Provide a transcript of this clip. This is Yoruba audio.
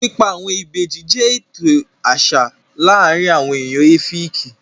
Pípa àwọn ìbejì jẹ́ ètò àṣà láàrin àwon èèyàn Ẹ́fìkì